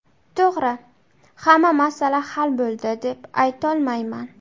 To‘g‘ri, hamma masala hal bo‘ldi, deb aytolmayman.